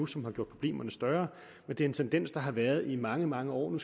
som har gjort problemerne større men det er en tendens der har været i mange mange år nu